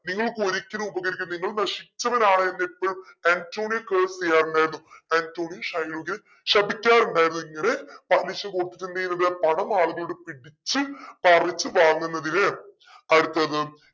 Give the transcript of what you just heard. നിങ്ങൾക്ക് ഒരിക്കലും ഉപകരിക്കില്ല നിങ്ങൾ നശിച്ചവനാണ് എന്ന് എപ്പോഴും ആന്റോണിയോ curse ചെയ്യാറുണ്ടായിരുന്നു ആന്റോണിയോ ഷൈലോക്കിനെ ശപിക്കാറുണ്ടായിരുന്നു ഇങ്ങനെ പലിശ കൊടുത്തിട്ട് എന്തെയുന്നത് പണം ആളുകളോട് പിടിച്ചു പറിച്ചു വാങ്ങുന്നതിന് അടുത്തത്